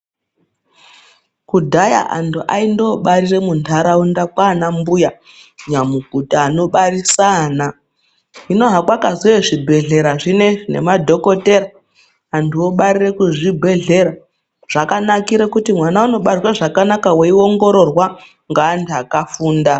Kudhaya antu aindobatire muntaraunda kwaanambuya nyamukuta anobarisa ana. Hino hakwakazouye zvibhedhlera zvinezvi nemadhokotera, antu obarire kuzvibhedhlera .Zvakanakire kuti mwana unobarwe zvakanaka weiongororwa, ngeantu akafunda.